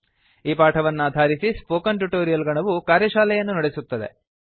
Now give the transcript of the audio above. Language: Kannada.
ಈ ಪಾಠವನ್ನಾಧಾರಿಸಿ ಸ್ಪೋಕನ್ ಟ್ಯುಟೊರಿಯಲ್ ಗಣವು ಕಾರ್ಯಶಾಲೆಯನ್ನು ನಡೆಸುತ್ತದೆ